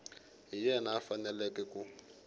hi yena a faneleke ku